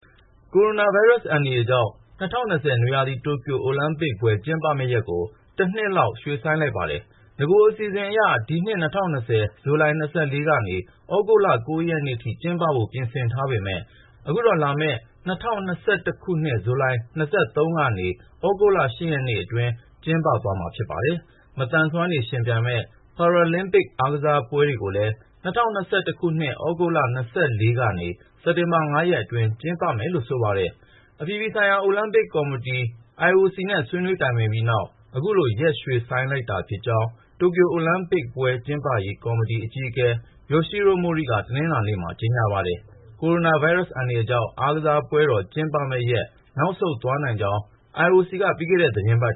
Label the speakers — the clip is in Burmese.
Speaker 1: ကိုရိုနာဗိုင်းရပ်စ် အန္တရာယ်ကြောင့် ၂၀၂၀ နွေရာသီ တိုကျိုအိုလံပစ်ပွဲ ကျင်းပမယ့်ရက်ကို တနှစ်လောက် ရွှေ့ဆိုင်းလိုက်ပါတယ်။ နဂို အစီအစဉ်အရ ဒီနှစ် ၂၀၂၀ ဇူလိုင် ၂၄ ကနေ သြဂုတ်လ ၉ ရက်နေ့ထိ ကျင်းပဖို့ ပြင်ဆင်ထားပေမဲ့ အခုတော့ လာမယ့် ၂၀၂၁ ခုနှစ် ဇူလိုင် ၂၃ ကနေ သြဂုတ်လ ၈ ရက်နေ့အတွင်း ကျင်းပသွားမှာ ဖြစ်ပါတယ်။ မသန်စွမ်းတွေ ယှဉ်ပြိုင်မယ့် Paralympic အားကစားပွဲတွေကိုလည်း ၂၀၂၁ သြဂုတ်လ ၂၄ ကနေ စက်တာဘာ ၅ ရက်အတွင်း ကျင်းပမယ်လို့ ဆိုပါတယ်။ အပြည်ပြည်ဆိုင်ရာ အိုလံပစ်ကော်မတီ IOC နဲ့ ဆွေးနွေးတိုင်ပင်ခဲ့ပြီးနောက် အခုလို ရက်ရွှေ့ဆိုင်းလိုက်တာ ဖြစ်ကြောင်း တိုကျို အိုလံပစ်ပွဲ ကျင်းပရေးကော်မတီ အကြီးအကဲ ယိုရှီးရို့ မိုရိ က တနင်္လာနေ့မှာ ကြေညာလိုက်ပါတယ်။ ကိုရိုနာ ဗိုင်းရပ်စ် အန္တရာယ်ကြောင့် အားကစားပွဲတော် ကျင်းပရက် နောက်ဆုတ်သွားနိုင်ကြောင်း IOC ကပြီးခဲ့တဲ့ သီတင်းပတ်